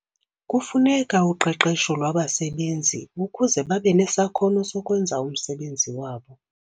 Kufuneka uqeqesho lwabasebenzi ukuze babe nesakhono sokwenza umsebenzi wabo.